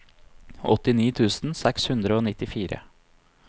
åttini tusen seks hundre og nittifire